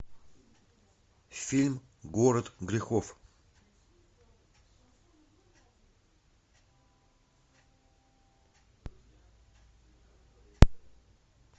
фильм город грехов